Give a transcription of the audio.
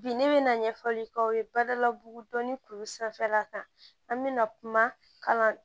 Bi ne bɛ na ɲɛfɔli k'aw ye badalabugu dɔnni kuru sanfɛla kan an bɛna kuma